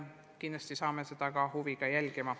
Kindlasti hakkame seda huviga jälgima.